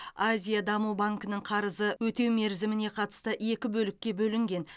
азия даму банкінің қарызы өтеу мерзіміне қатысты екі бөлікке бөлінген